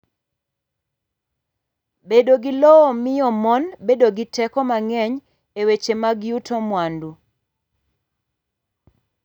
Bedo gi lowo miyo mon bedo gi teko mang’eny e weche mag yuto mwandu.